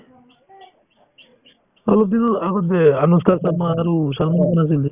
অলপদিনৰ আগত যে অনুষ্কা শৰ্মা আৰু ছলমান খান আছিল যে